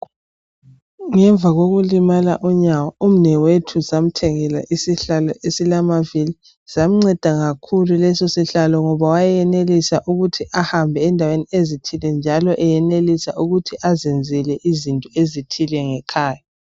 Ngemva kokulimala unyawo umnewethu samuthengela isihlalo esilamavili samunceda kakhulu lesi sihlalo ngoba wayeyenelisa ukuthi ahambe endaweni ezithi njalo eyenelisa ukuthi azenzele izinto ezithile ngekhaya.